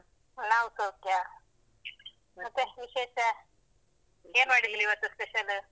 ಹಾ ನಾವ್ ಸೌಖ್ಯ. ಮತ್ತೆ ವಿಶೇಷ? ಮಾಡಿದ್ರಿ ಇವತ್ತು special ?